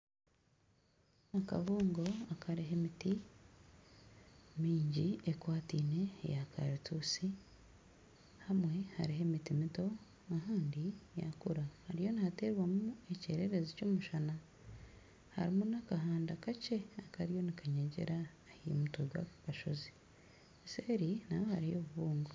Akabungo akariho emiti mingi ekwataine eya karitusi hamwe hariho emiti mito ahandi yakura hariyo nihaterwamu ekyererezi ky'omushana harimu n'akahanda kakye akariyo nikanyegyera aha mutwe gwako kashozi seeri naayo hariyo obubungo.